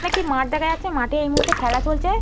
এখানে একটি মাঠ দেখা যাচ্ছে। মাঠে এই মুহূর্তে খেলা চলছে।